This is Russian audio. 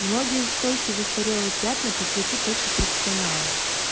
многие стойкие застарелые пятна по плечу только профессионалам